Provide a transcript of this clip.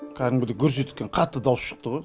кәдімгідей гүрс еткен қатты дауыс шықты ғой